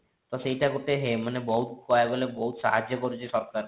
ତ ସେଇଟା ଗୋଟେ ହେ ମାନେ ବହୁତ କହିବାକୁ ଗଲେ ବହୁତ ସାହାଯ୍ୟ କରୁଛି ସରକାର କୁ